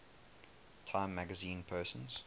time magazine persons